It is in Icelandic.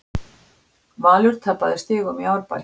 Valur tapaði stigum í Árbæ